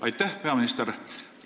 Aitäh!